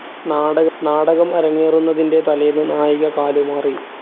നാടകം അരങ്ങേറുന്നതിൻ്റെ തലേന്ന് നായിക കാലുമാറി.